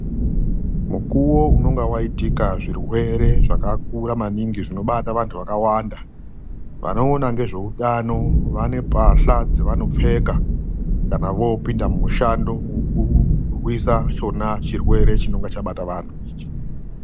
MUKUWO UNONGA WAITIKA ZVIRWERE ZVAKAKURA MANINGI ZVINOBATA VANTU VAKAWANDA. VANOONA NGEZVEUTANO VANE MBATYLA DZAVANOPFEKA KANA VOOPINDA MUMISHANDO WEKURWISA ICHONA CHIRWERE CHINONGA CHABATA VANTU ICHI.